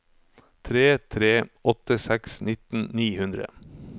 tre tre åtte seks nitten ni hundre